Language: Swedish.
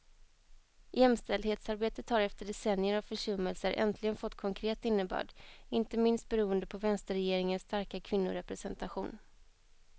Jämställdhetsarbetet har efter decennier av försummelser äntligen fått konkret innebörd, inte minst beroende på vänsterregeringens starka kvinnorepresentation.